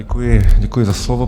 Děkuji, děkuji za slovo.